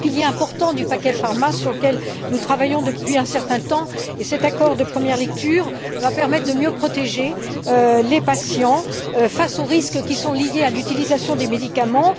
C'est un pilier important du paquet pharma sur lequel nous travaillons depuis un certain temps, et cet accord de première lecture va permettre de mieux protéger les patients face aux risques qui sont liés à l'utilisation des médicaments.